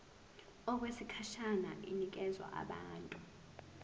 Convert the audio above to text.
okwesikhashana inikezwa abantu